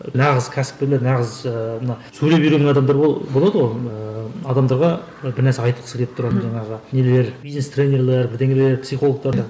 нағыз кәсіпкерлер нағыз ыыы мына сөйлеп үйренген адамдар болады ғой ыыы адамдарға бір нәрсе айтқысы келіп тұрады жаңағы нелер бизнес тренерлер бірдеңелер психологтар да